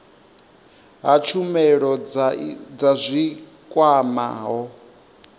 ha tshumelo dza zwi kwamaho